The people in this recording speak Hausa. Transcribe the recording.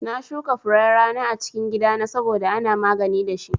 Na shuka furen rana a cikin gida na saboda ana magani dashi